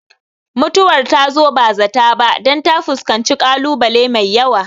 Mutuwar ta zo ba zata ba dan ta fuskanci kalu bale mai yawa